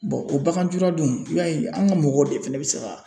o baganjuradunw i b'a ye an ka mɔgɔw de fana bɛ se ka